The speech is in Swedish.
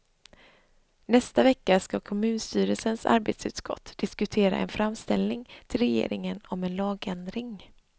Nästa vecka skall kommunstyrelsens arbetsutskott diskutera en framställning till regeringen om en lagändring.